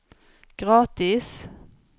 gratis